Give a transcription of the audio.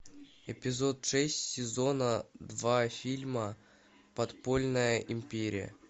эпизод шесть сезона два фильма подпольная империя